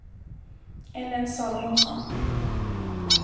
Ellen Salomonsson